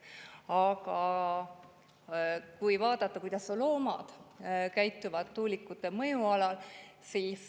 Aga vaadake, kuidas loomad käituvad tuulikute mõjualal.